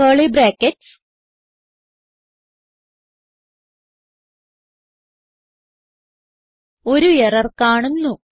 curly brackets ഒരു error കാണുന്നു